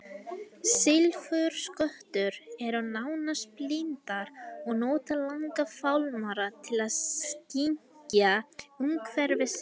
Silfurskottur eru nánast blindar og nota langa fálmara til að skynja umhverfi sitt.